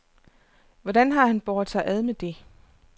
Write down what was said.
Hvordan har han båret sig ad med det.